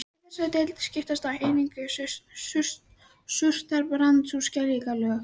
Í þessari deild skiptast einnig á surtarbrands- og skeljalög.